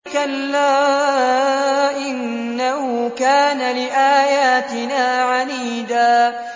كَلَّا ۖ إِنَّهُ كَانَ لِآيَاتِنَا عَنِيدًا